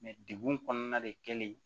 de degun kɔnɔna de kɛlen